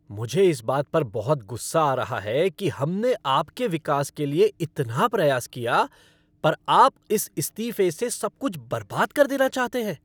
मुझे इस बात पर बहुत गुस्सा आ रहा है कि हमने आपके विकास के लिए इतना प्रयास किया पर आप इस इस्तीफे से सब कुछ बर्बाद कर देना चाहते हैं।